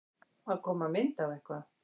Að koma mynd á eitthvað